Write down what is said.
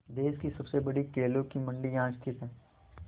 देश की सबसे बड़ी केलों की मंडी यहाँ स्थित है